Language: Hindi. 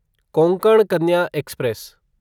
कोंकण कन्या एक्सप्रेस